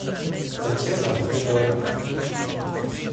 татьяна ахметова